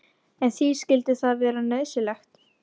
En því skyldi það vera nauðsynlegt?